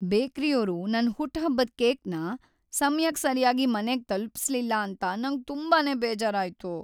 ಬೇಕ್ರಿಯೋರು ನನ್ ಹುಟ್ಹಬ್ಬದ್ ಕೇಕ್‌ನ ಸಮಯಕ್ ಸರ್ಯಾಗಿ ಮನೆಗ್ ತಲುಪಿಸ್ಲಿಲ್ಲ ಅಂತ ನಂಗ್‌ ತುಂಬಾನೇ ಬೇಜಾರಾಯ್ತು.